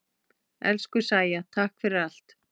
Elsku Sæja, takk fyrir allt.